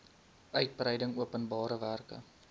uitgebreide openbare werke